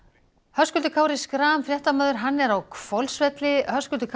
Höskuldur Kári Schram fréttamaður er á Hvolsvelli Höskuldur